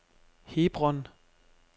Hebron